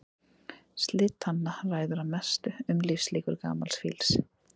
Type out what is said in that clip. Slit tanna ræður mestu um lífslíkur gamals fíls.